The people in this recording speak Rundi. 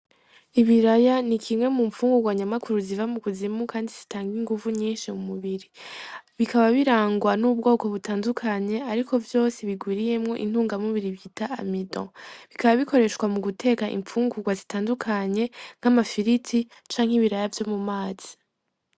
Ibiraya nikimwe mumfungugwa nyamukuru ziva mukuzimu kandi zitanga inguvu nyinshi mumubiri. Bikaba birangwa n'ubwoko butandukanye ariko vyose bigwiriyemo intungamubiri bita amido. BIkaba bikoreshwa muguteka imfungugwa zitandukanye nk’amafiriti canke ibiraya vyomumazi